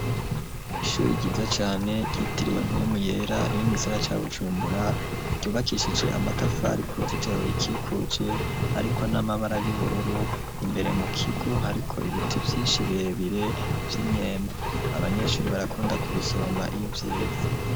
Ishuri ryiza cane ryitiriwe mpwemu yera riri mu gisagara ca bujumbura ryubakishije amatafari kuruzitiro rirukikuje hariko n'amabara y'ubururu ,imbere mu kigo hariko ibiti vyinshi birebire vy’imyembe abanyeshuri barakunda ku bisoroma iyo vyeze.